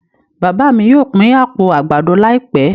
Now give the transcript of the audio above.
Bàbà mí yóò pin apó àgbàdo laipẹ